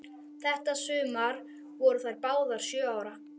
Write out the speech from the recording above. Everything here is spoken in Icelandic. Þetta sumar voru þær báðar sjö ára.